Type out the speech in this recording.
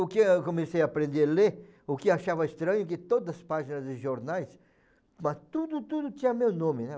O que eu comecei a aprender a ler, o que eu achava estranho, que todas as páginas de jornais, tudo tudo tinha meu nome, né.